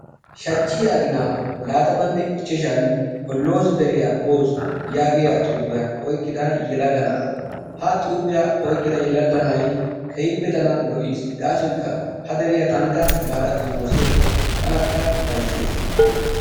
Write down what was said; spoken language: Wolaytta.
Shachiya aginaan laatammanne ichashan holloozi deriya boos yaagiyaa xuufiya oyqqida yelaga na'aa; ha xuufiya oyqqida yelaga na'ay tana lo'is gaasokka tankka baada xommoosiyakko tanakka ufayssees.